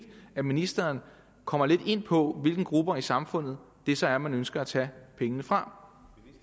at ministeren kommer lidt ind på hvilke grupper i samfundet det så er man ønsker at tage pengene fra